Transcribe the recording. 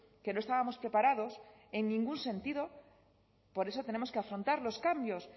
que no estábamos preparados en ningún sentido por eso tenemos que afrontar los cambios